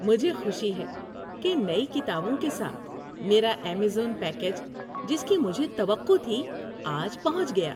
‏مجھے خوشی ہے کہ نئی کتابوں کے ساتھ میرا ایمیزون پیکیج، جس کی مجھے توقع تھی، آج پہنچ گیا۔